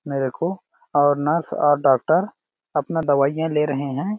मेरे को और नर्स और डॉक्टर अपना दवाईयां ले रहे है।